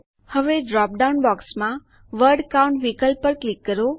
હવે ડ્રોપડાઉન બોક્સમાં word count વિકલ્પ પર ક્લિક કરો